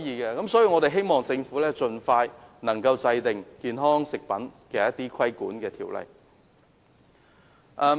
因此，我希望政府能夠盡快制定一項規管健康食品的條例。